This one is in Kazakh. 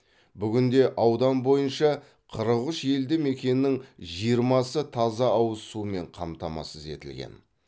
бүгінде аудан бойынша қырық үш елді мекеннің жиырмасы таза ауыз сумен қамтамасыз етілген